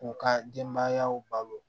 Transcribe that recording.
K'u ka denbayaw balo